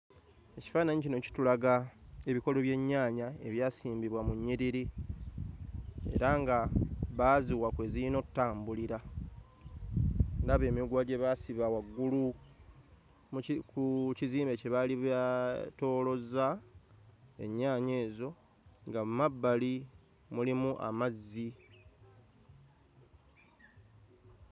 Ekifaananyi kino kitulaga ebikolo by'ennyaanya ebyasimbibwa mu nnyiriri era nga baaziwa kwe ziyina ottambulira olaba emiguwa gye baasiba waggulu muki ku kizimbe kye baali baatoolozza ennyaanya ezo nga mmabbali mulimu amazzi.